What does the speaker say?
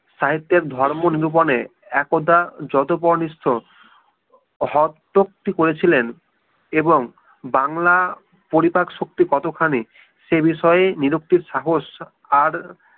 সাহিত্যের ধর্ম নিরূপণে একদা যতপনিষ্ঠ হত্যক্তি করেছিলেন এবং বাংলা পরিপাক্ব শক্তি কতখানি সেই বিষয়ে নিরুক্তির সাহস আর